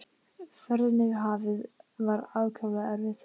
Ferðin yfir hafið var ákaflega erfið.